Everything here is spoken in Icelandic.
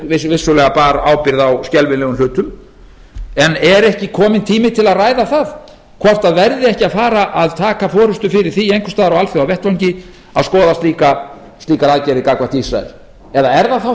sem vissulega bar ábyrgð á skelfilegum hlutun en er ekki kominn tími til að ræða það hvort það verði ekki að fara að taka forustu fyrir því einhvers staðar á alþjóðavettvangi að skoða slíkar aðgerðir gagnvart ísrael eða er það þá